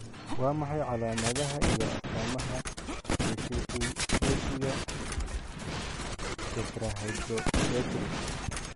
Waa maxay calaamadaha iyo astaamaha deficienciga Tetrahydrobiopterin?